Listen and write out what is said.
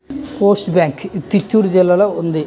Post bank ఇది చిత్తూరు జిల్లాలో ఉంది.